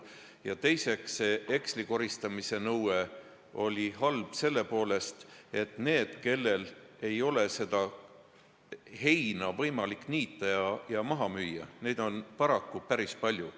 Ja teiseks oli heksli koristamise nõue halb sel põhjusel, et need, kellel ei ole heina võimalik niita ja maha müüa, on paraku päris palju.